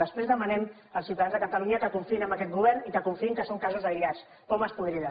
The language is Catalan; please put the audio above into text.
després demanem als ciutadans de catalunya que confiïn en aquest govern i que confiïn que són casos aïllats pomes podrides